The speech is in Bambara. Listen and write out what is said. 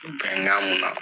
Bɛnkan mun na